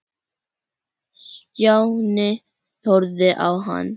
Stjáni horfði á hann.